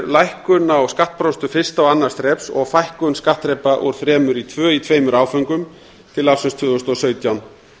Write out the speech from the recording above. lækkun á skattprósentu fyrsta og annars þreps og fækkun skattþrepa úr þremur í tvö í tveimur áföngum til ársins tvö þúsund og sautján